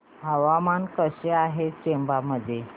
हवामान कसे आहे चंबा मध्ये